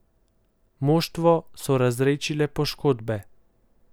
Moštvo so razredčile poškodbe.